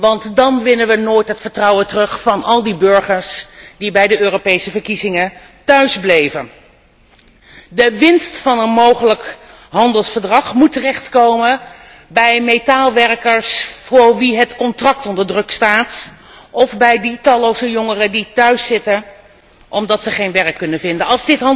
Want dan winnen wij nooit het vertrouwen terug van al die burgers die bij de Europese verkiezingen thuisbleven. De winst van een mogelijk handelsverdrag moet terechtkomen bij metaalwerkers voor wie het contract onder druk staat of bij de talloze jongeren die thuiszitten, omdat zij geen werk kunnen vinden.